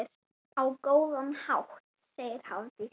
Á góðan hátt, segir Hafdís.